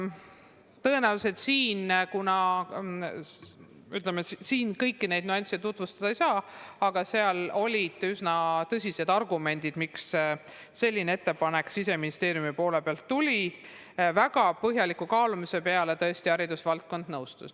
Tõenäoliselt ma siin kõiki neid nüansse tutvustada ei saa, aga olid üsna tõsised argumendid, miks selline ettepanek Siseministeeriumilt tuli, ja pärast väga põhjalikku kaalumist haridusvaldkond nõustus sellega.